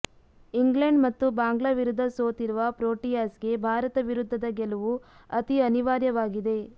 England ಮತ್ತು ಬಾಂಗ್ಲಾ ವಿರುದ್ಧ ಸೋತಿರುವ ಪ್ರೋಟಿಯಾಸ್ಗೆ ಭಾರತ ವಿರುದ್ಧದ ಗೆಲುವು ಅತೀ ಅನಿವಾರ್ಯವಾಗಿದೆ